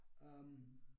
Øh